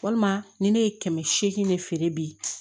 Walima ni ne ye kɛmɛ seegin de feere bi